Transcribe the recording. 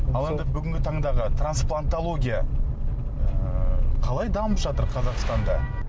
ал енді бүгінгі тандағы трансплантология ы қалай дамып жатыр қазақстанда